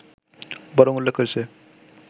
বরং উল্লেখ করেছে